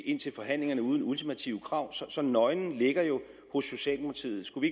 ind til forhandlingerne uden ultimative krav så så nøglen ligger hos socialdemokratiet skulle